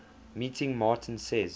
meeting martin says